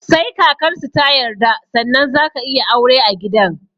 Sai kakarsu ta yarda sannan zaka iya aure a gidan